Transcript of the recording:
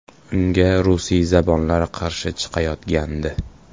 Unga rusiyzabonlar qarshi chiqayotgandi.